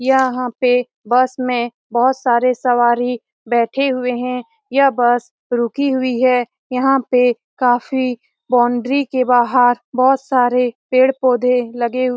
यहाँ पे बस में बोहोत सारे सवारी बेठे हुए हैं। यह बस रुकी हुई है। यहाँ पे काफी बॉउन्ड्री के बाहर बोहोत सारे पेड़ पौधे लगे --